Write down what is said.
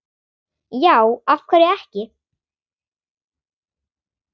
já af hverju ekki